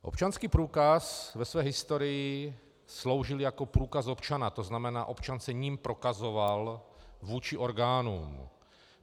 Občanský průkaz ve své historii sloužil jako průkaz občana, to znamená, občan se jím prokazoval vůči orgánům.